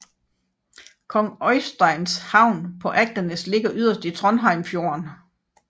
Kong Øysteins havn på Agdenes ligger yderst i Trondheimsfjorden